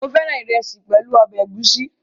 Mo féràn ìrẹsì pẹ̀lú ọbẹ̀ ẹ̀gúsí